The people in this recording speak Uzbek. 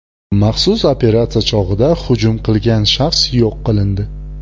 Maxsus operatsiya chog‘ida hujum qilgan shaxs yo‘q qilindi.